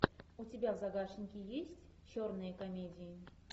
у тебя в загашнике есть черные комедии